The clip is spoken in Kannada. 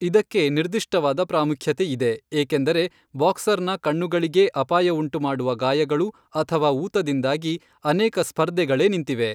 ಇದಕ್ಕೆ ನಿರ್ದಿಷ್ಟವಾದ ಪ್ರಾಮುಖ್ಯತೆ ಇದೆ, ಏಕೆಂದರೆ ಬಾಕ್ಸರ್ನ ಕಣ್ಣುಗಳಿಗೇ ಅಪಾಯವುಂಟುಮಾಡುವ ಗಾಯಗಳು ಅಥವಾ ಊತದಿಂದಾಗಿ ಅನೇಕ ಸ್ಪರ್ಧೆಗಳೇ ನಿಂತಿವೆ.